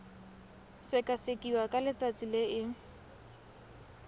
sekasekiwa ka letsatsi le e